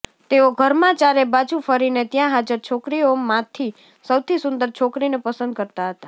તેઓ ઘરમાં ચારે બાજુ ફરીને ત્યાં હાજર છોકરીઓમાંથી સૌથી સુંદર છોકરીને પસંદ કરતા હતા